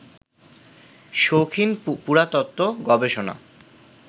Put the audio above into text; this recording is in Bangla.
শৌখিন পুরাতত্ত্ব, গবেষণা